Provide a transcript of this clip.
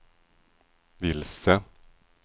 vilse